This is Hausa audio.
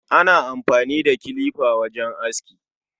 Ana amfani da kilifa wajen aski.